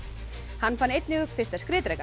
hann fann einnig upp fyrsta